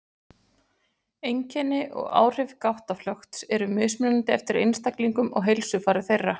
Einkenni og áhrif gáttaflökts eru mismunandi eftir einstaklingum og heilsufari þeirra.